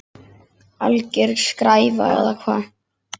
Alger skræfa eða hvað?